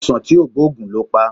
Aisan ti o gboogun lo pa